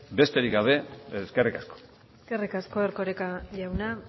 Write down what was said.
besterik gabe eskerrik asko eskerrik asko erkoreka jauna